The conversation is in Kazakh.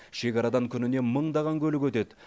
шекарадан күніне мыңдаған көлік өтеді